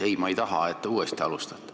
Ei, ma ei taha, et te uuesti ettekannet alustate.